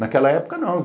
Naquela época não.